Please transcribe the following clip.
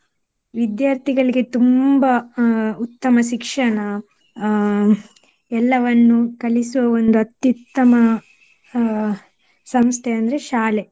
ವಿದ್ಯಾರ್ಥಿಗಳಿಗೆ ತುಂಬಾ ಅಹ್ ಉತ್ತಮ ಶಿಕ್ಷಣ ಅಹ್ ಎಲ್ಲವನ್ನೂ ಕಲಿಸೋ ಒಂದ್ ಅತ್ಯುತ್ತಮ ಅಹ್ ಸಂಸ್ಥೆ ಅಂದ್ರೆ ಶಾಲೆ.